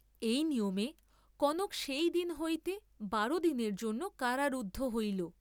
এই নিয়মে কনক সেই দিন হইতে বার দিনের জন্য কারারুদ্ধ হইল।